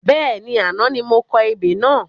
Bẹ́ẹ̀ni, àná ni mo kọ ebè náà